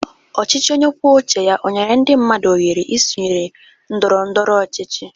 Ọchịchị onye kwuo uche ya ọ nyere ndị mmadụ ọhere isonye ndọrọ ndọrọ ọchịchị?